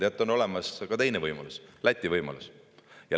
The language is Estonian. Teate, on olemas ka teine võimalus: Läti võimalus.